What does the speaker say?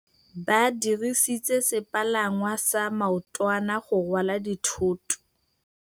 Ba dirisitse sepalangwasa maotwana go rwala dithôtô.